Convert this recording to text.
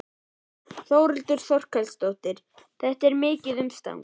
Þórhildur Þorkelsdóttir: Þetta er mikið umstang?